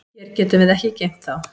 Hér getum við ekki geymt þá.